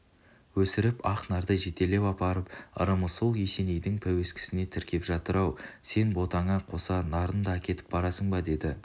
өсіріп ақ нарды жетелеп апарып ырымы сол есенейдің пәуескесіне тіркеп жатыр ау сен ботаңа қоса нарын да әкетіп барасың ба деді